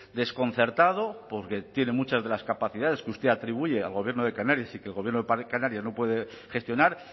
desconcertado porque tiene muchas de las capacidades que usted atribuye al gobierno de canarias y que el gobierno de canarias no puede gestionar